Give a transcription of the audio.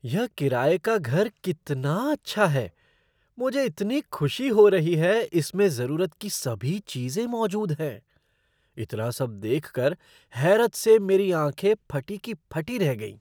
यह किराये का घर कितना अच्छा है! मुझे इतनी खुशी हो रही है इसमें ज़रूरत की सभी चीज़ें मौजूद हैं। इतना सब देखकर हैरत से मेरी आँखें फटी की फटी रह गईं।